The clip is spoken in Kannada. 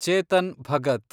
ಚೇತನ್ ಭಗತ್